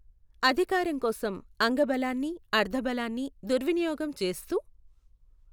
అధికారం కోసం అంగబలాన్ని, అర్థబలాన్ని దుర్వినియోగం చేస్తూ.